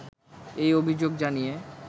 এই অভিযোগ জানিয়ে